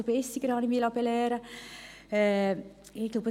Desto bissiger sind sie, habe ich mich belehren lassen.